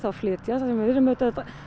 flytja það sem við erum auðvitað að